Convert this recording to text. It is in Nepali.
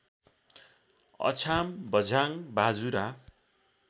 अछाम बझाङ बाजुरा